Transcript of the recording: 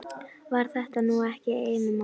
Var þetta nú ekki einum of?